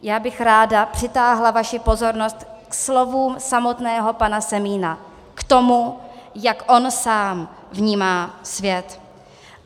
Já bych ráda přitáhla vaši pozornost ke slovům samotného pana Semína, k tomu, jak on sám vnímá svět.